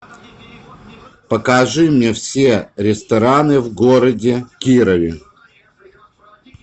покажи мне все рестораны в городе кирове